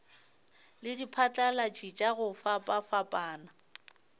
le diphatlalatši tša go fapafapana